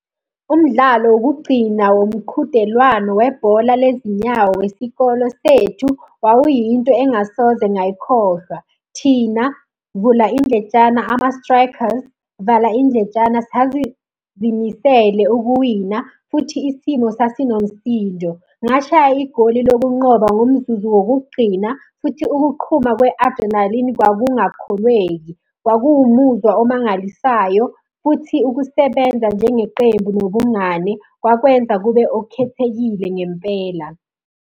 Umdlalo wokugcina womqhudelwano webhola le zinyawo wesikolo sethu, wawuyinto engingasoze ngayikhohlwa. Thina, vula indletshana ama-Strikers, vala indlentshana, sazizimisele ukuwina futhi isimo sasinomsindo. Ngashaya igoli lokunqoba ngomzuzu wokugcina, futhi ukuqhuma kwe-adrenalini kwakungakholweki. Kwakuwumuzwa omangalisayo, futhi ukusebenza njengeqembu nobungane kwakwenza kube okukhethekile ngempela.